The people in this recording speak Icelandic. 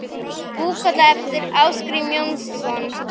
Búkolla eftir Ásgrím Jónsson